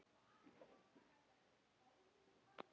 Eða tvo.